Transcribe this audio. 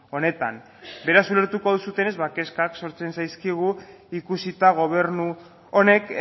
honetan beraz ulertuko duzutenez kezkak sortzen zaizkigu ikusita gobernu honek